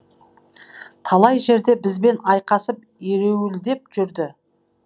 талай жерде бізбен айқасып ереуілдеп жүрді